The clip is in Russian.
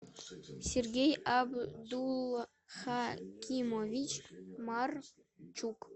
сергей абдулхакимович марчук